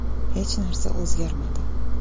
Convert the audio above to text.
Hech narsa o‘zgarmadi.